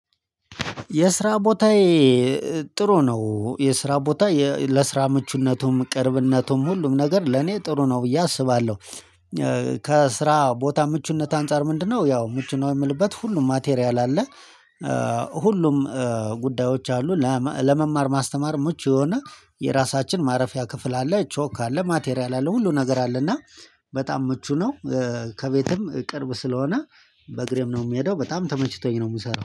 የስራ ቦታዬ ጥሩ ነው። የስራ ቦታ ለስራ ምቹነቱም ቅርብነቱም ሁሉም ነገር ለኔ ጥሩ ነው ብዬ አስባለሁ። ከስራ ቦታ ምቹነት አንፃር ምንድነው? ያው ምቹ ነው የምልበት ሁሉም ማቴሪያል አለ። ሁሉም ጉዳዮች አሉ ለመማር ማስተማር ምቹ የሆነ የራሳችን ማረፊያ ክፍል አለ ቾክ አለ ማቴሪያል አለ ሁሉ ነገር አለ። እና በጣም ምቹ ነው። ከቤትም ቅርብ ስለሆነ በእግሬም ነው የምሄደው በጣም ተመችቶኝ ነው የምሰራው